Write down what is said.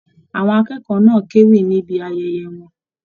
Àwọn akẹ́kọ̀ọ́ náà k'ewí níbí ayẹyẹ wọn.